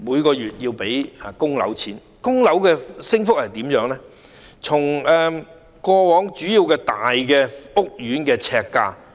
關於供樓的升幅，我們可以比較主要大型屋苑的呎價。